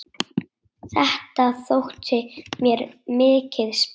Þetta þótti mér mikið sport.